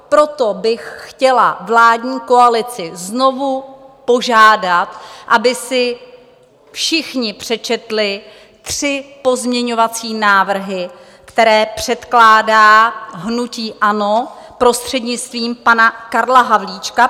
Proto bych chtěla vládní koalici znovu požádat, aby si všichni přečetli tři pozměňovací návrhy, které předkládá hnutí ANO prostřednictvím pana Karla Havlíčka.